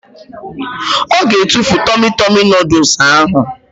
Ọ ga-etufu tọmi tọmi nọdụs ahụ